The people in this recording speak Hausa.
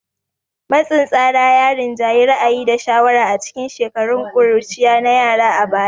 Matsin tsara ya rinjayi ra'ayi da shawara a cikin shekarun ƙuruciya na yara a baya